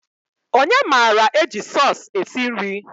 Onye mara eji sọs esi nri?